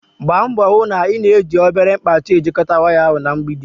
gbaa mbọ hụ na ị na-ejiri obere mkpachị ejikọta waya ahụ na mgbidi.